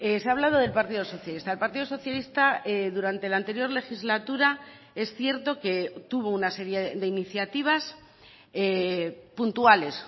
se ha hablado del partido socialista el partido socialista durante la anterior legislatura es cierto que tuvo una serie de iniciativas puntuales